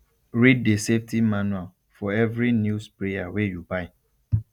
read the safety manual for every new sprayer wey you buy